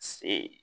Se